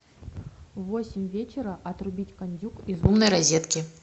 в восемь вечера отрубить кондюк из умной розетки